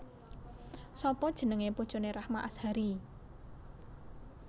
Sapa jenenge bojone Rahma Azhari?